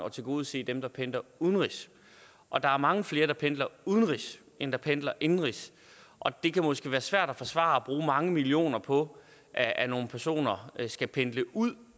at tilgodese dem der pendler udenrigs og der er mange flere der pendler udenrigs end der pendler indenrigs det kan måske være svært at forsvare at bruge mange millioner på at at nogle personer skal pendle ud